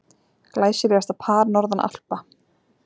Glæsilegasta par norðan Alpa.